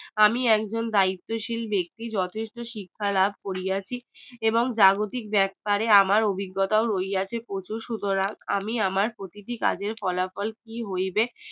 আমি একজন দায়িত্বশীল ব্যাক্তি যথেষ্ট শিক্ষা লাভ করিয়াছি এবং জাগতিক ব্যাপারে আমার অভিজ্ঞতা হইয়াছে প্রচুর সুতরাং আমি আমার প্রতি টি কাজের ফলাফল কি হইবে